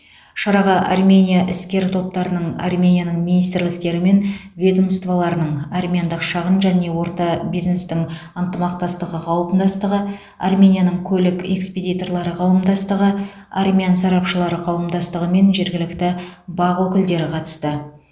шараға армения іскер топтарының арменияның министрліктері мен ведомстволарының армяндық шағын және орта бизнестің ынтымақтастығы қауымдастығы арменияның көлік экспедиторлары қауымдастығы армян сарапшылары қауымдастығы мен жергілікті бақ өкілдері қатысты